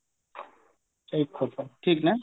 ଠିକ ନା